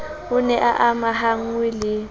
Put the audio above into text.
o ne a amahanngwe le